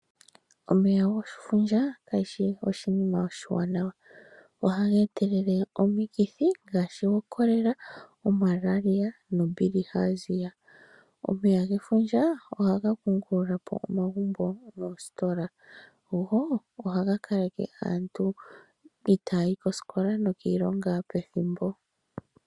Omeya gefundja kayi shi oshinima oshiwanawa. Ohaga etelele omikithi ngaashi oChorela, oMalaria . omeya gefundja ohaga kungulapo omagumbo noositola. Go ohaga kaleke aantu itaayi koositola nokiilonga pethimbo.